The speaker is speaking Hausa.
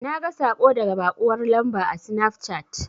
Naga saƙo daga baƙuwar lamba a sinafcat.